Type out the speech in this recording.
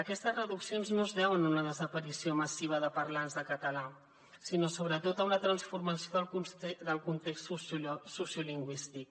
aquestes reduccions no es deuen a una desaparició massiva de parlants de català sinó sobretot a una transformació del context sociolingüístic